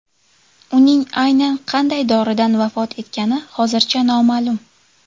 Uning aynan qanday doridan vafot etgani hozircha noma’lum.